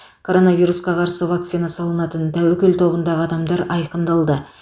коронавирусқа қарсы вакцина салынатын тәуекел тобындағы адамдар айқындалды